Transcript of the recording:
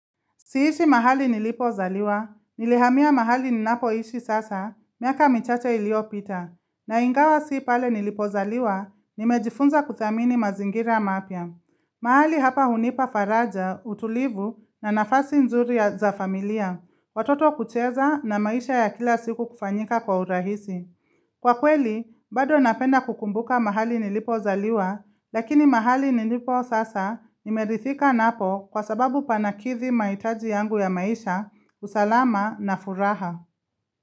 Siishi mahali nilipozaliwa, nilihamia mahali ninapoishi sasa, miaka michache iliyopita. Na ingawa si pale nilipozaliwa, nimejifunza kuthamini mazingira mapya. Mahali hapa hunipa faraja, utulivu, na nafasi nzuri za familia, watoto kucheza na maisha ya kila siku kufanyika kwa urahisi. Kwa kweli, bado napenda kukumbuka mahali nilipozaliwa, lakini mahali nilipo sasa nimerithika napo kwa sababu panakithi mahitaji yangu ya maisha, usalama na furaha.